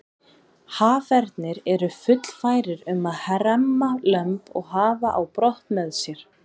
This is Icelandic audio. Hafernir eru fullfærir um að hremma lömb og hafa á brott með sér.